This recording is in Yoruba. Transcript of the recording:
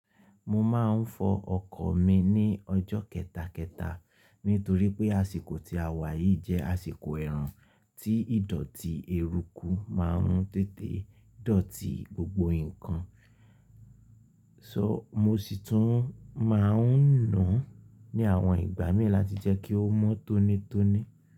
Mo máa ń fọ ọkọ̀ mi ní ọjọ́ kẹtàkẹta nítorí pé àsìkò tí a wà yìí jẹ́ àsìkò ẹ̀rùn tí ìdọ̀tí èruku máa ń tètè dọ̀tí gbogbo nǹkan. Sọ, mo sì tún máa ń nù ún ní àwọn ìgbà mìí láti jẹ́ kí ó mọ́ tónítóní.